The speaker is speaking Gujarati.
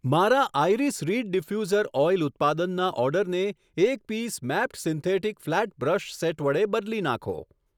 મારા આઈરીસ રીડ ડીફ્યુસર ઓઈલ ઉત્પાદનના ઓર્ડરને એક piece mapped synthetic flat brush set વડે બદલી નાંખો.